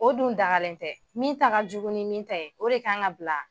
O dun dagalen tɛ, min ta ka jugun ni min ta ye, o de kan ŋa bila